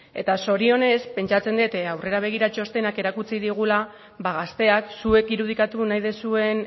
eta zorionez pentsatzen dut aurrera begira txostenak erakutsi digula ba gazteak zuek irudikatu nahi dizuen